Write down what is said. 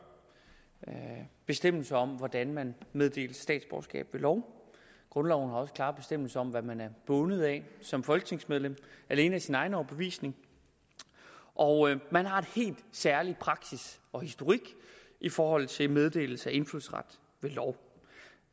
bestemmelse om hvordan man meddeles statsborgerskab ved lov grundloven har også klare bestemmelser om hvad man er bundet af som folketingsmedlem alene af sin egen overbevisning og man har en særlig praksis og historik i forhold til meddelelse af indfødsret ved lov